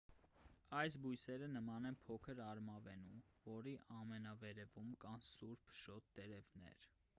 այս բույսերը նման են փոքր արմավենու որի ամենավերևում կան սուր փշոտ տերևներ